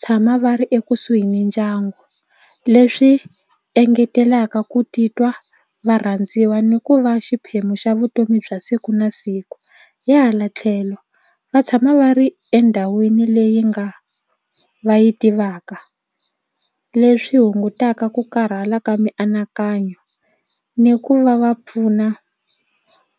tshama va ri ekusuhi ni ndyangu leswi engetelaka ku titwa va rhandziwa ni ku va xiphemu xa vutomi bya siku na siku hi hala tlhelo va tshama va ri endhawini leyi nga va yi tivaka leswi hungutaka ku karhala ka mianakanyo ni ku va va pfuna